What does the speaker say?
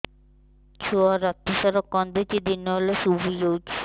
ଛୁଆ ରାତି ସାରା କାନ୍ଦୁଚି ଦିନ ହେଲେ ଶୁଇଯାଉଛି